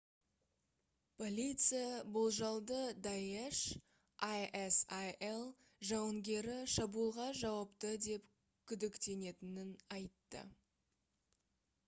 полиция болжалды даеш isil жауынгері шабуылға жауапты деп күдіктенетінін айтты